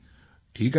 ठीक आहे सर